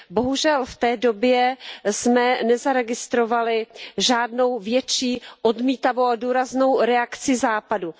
Bohužel, v té době jsme nezaregistrovali žádnou větší odmítavou a důraznou reakci Západu.